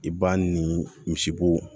I b'a ni misibo